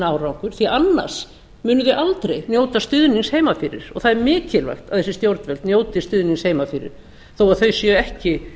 árangur því annars munu þau aldrei njóta stuðnings heima fyrir og það er mikilvægt að þessi stjórnvöld njóti stuðnings heima þó að þau séu ekki